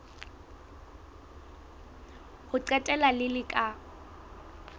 ho qetela le le ka